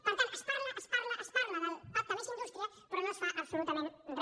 per tant es parla es parla es parla del pacte més indústria però no es fa absolutament re